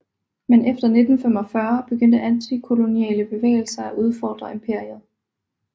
Men efter 1945 begyndte antikoloniale bevægelser at udfordre imperiet